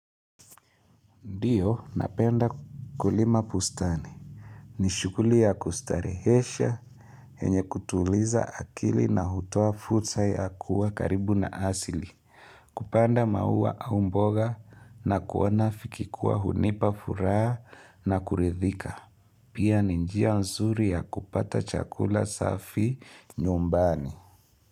Ndiyo, napenda kulima bustani. Ni shughuli ya kustarehesha yenye kutuliza akili na hutoa fursa ya kuwa karibu na asili. Kupanda maua au mboga na kuona vikikuwa hunipa furaha na kuridhika. Pia ni njia nzuri ya kupata chakula safi nyumbani.